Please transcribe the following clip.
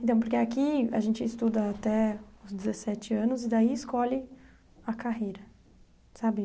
Então, porque aqui a gente estuda até os dezessete anos e daí escolhe a carreira, sabe?